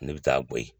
Ne bɛ taa bɔ yen